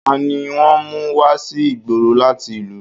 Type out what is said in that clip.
Tani wọ́n mú wá sí ìgboro láti ìlú?